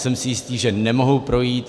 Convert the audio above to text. Jsem si jistý, že nemohou projít.